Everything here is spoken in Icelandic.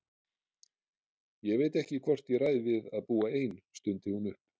Ég veit ekki hvort ég ræð við að búa ein, stundi hún upp.